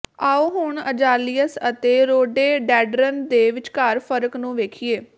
ਆਉ ਹੁਣ ਅਜ਼ਾਲੀਅਸ ਅਤੇ ਰੋਡੇਡੈਂਡਰਨ ਦੇ ਵਿਚਕਾਰ ਫਰਕ ਨੂੰ ਵੇਖੀਏ